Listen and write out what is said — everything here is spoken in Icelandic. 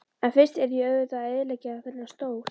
En fyrst yrði ég auðvitað að eyðileggja þennan stól.